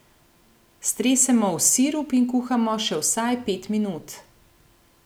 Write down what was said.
Stresemo v sirup in kuhamo še vsaj pet minut.